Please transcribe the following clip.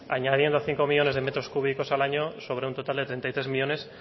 añadiendo cinco millónes de metros cúbicos al año sobre un total de treinta y tres millónes